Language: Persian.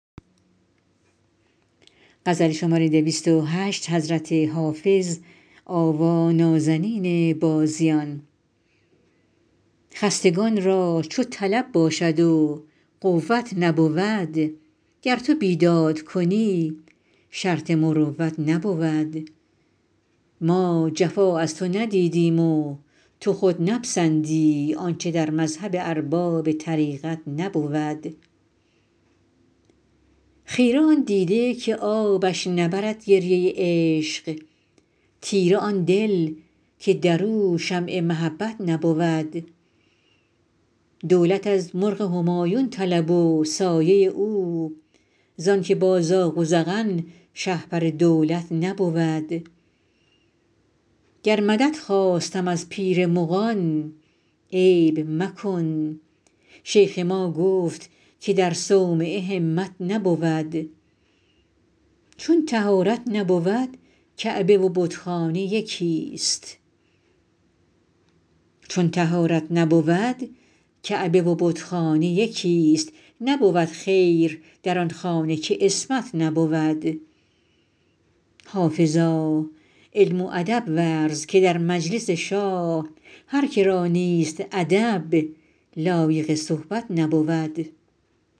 خستگان را چو طلب باشد و قوت نبود گر تو بیداد کنی شرط مروت نبود ما جفا از تو ندیدیم و تو خود نپسندی آنچه در مذهب ارباب طریقت نبود خیره آن دیده که آبش نبرد گریه عشق تیره آن دل که در او شمع محبت نبود دولت از مرغ همایون طلب و سایه او زان که با زاغ و زغن شهپر دولت نبود گر مدد خواستم از پیر مغان عیب مکن شیخ ما گفت که در صومعه همت نبود چون طهارت نبود کعبه و بتخانه یکیست نبود خیر در آن خانه که عصمت نبود حافظا علم و ادب ورز که در مجلس شاه هر که را نیست ادب لایق صحبت نبود